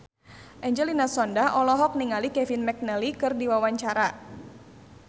Angelina Sondakh olohok ningali Kevin McNally keur diwawancara